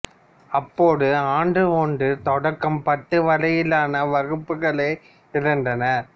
அப்போது ஆண்டு ஒன்று தொடக்கம் பத்து வரையிலான வகுப்புகளே இருந்தன